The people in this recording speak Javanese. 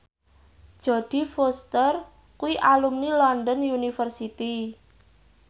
Jodie Foster kuwi alumni London University